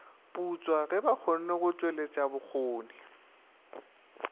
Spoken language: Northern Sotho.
putswa ge bakgonne go tšweletšabokgoni